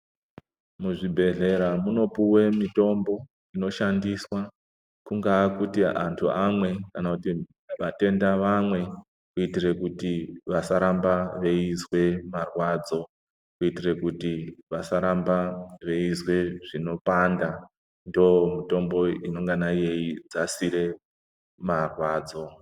Muzvibhedhlera munopuwe mitombo inoshandiswa kungaa kuti antu amwe kana kuti vatenda vamwe kuitire kuti vasaramba veizwe marwadzo, kuitire kuti vasaramba veizwe zvinopanda, ndomitombo inongana yeidzasire marwadzo.